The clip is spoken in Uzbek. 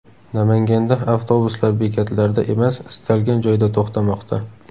Namanganda avtobuslar bekatlarda emas, istalgan joyda to‘xtamoqda .